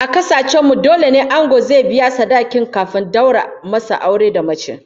A kasar mu dole ne ango zai biya sadakin kafin a daura masa aure da mace